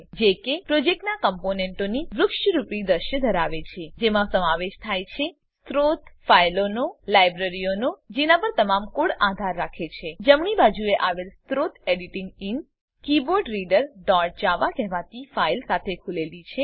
જે કે પ્રોજેક્ટનાં કમ્પોનેંટોની વૃક્ષરૂપી દૃશ્ય ધરાવે છે જેમાં સમાવેશ થાય છે સ્ત્રોત ફાઈલોનો લાઈબ્રેરીઓનો જેના પર તમારો કોડ આધાર રાખે છે જમણી બાજુએ આવેલ સ્ત્રોત એડિટર ઇન keyboardreaderજાવા કહેવાતી ફાઈલ સાથે ખુલેલી છે